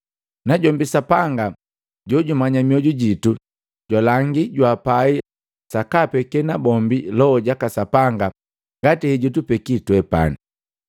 Najombi Sapanga jojumanya mioju jitu, jwalangi jwaapai sakaapeke nabombi Loho jaka Sapanga ngati hejutupeki twepani.